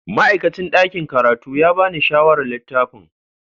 Ma'aikacin ɗakin karatu ya ba ni shawarar littafin.